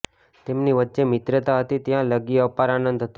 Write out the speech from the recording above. તેમની વચ્ચે મિત્રતા હતી ત્યાં લગી અપાર આંનદ હતો